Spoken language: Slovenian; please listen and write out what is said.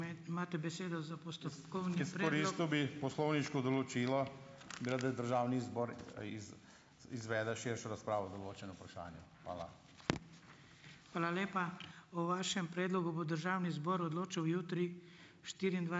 Izkoristil bi poslovniško določilo, da državni zbor izvede širšo razpravo na določena vprašanja. Hvala.